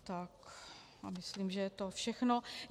Tak, a myslím, že je to všechno.